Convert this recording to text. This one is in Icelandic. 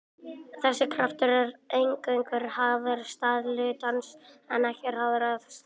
þessi kraftur er eingöngu háður stað hlutarins en ekki hraða eða stefnu